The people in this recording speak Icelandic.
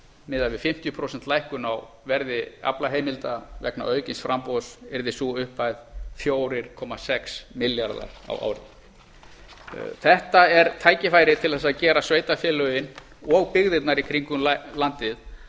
miðað við fimmtíu prósent lækkun á verði aflaheimilda vegna aukins framboðs yrði sú upphæð fjóra komma sex milljarðar á ári þetta er tækifærið til að gera sveitarfélögin og byggðirnar í kringum landið